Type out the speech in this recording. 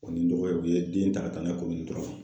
O ni n dɔgɔkɛ u ye den ta ka taa n'a ye